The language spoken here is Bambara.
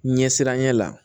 Ɲɛsiranɲɛ la